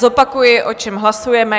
Zopakuji, o čem hlasujeme.